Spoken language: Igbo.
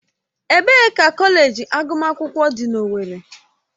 Ebee ka kọleji agụmakwụkwọ dị na owerri?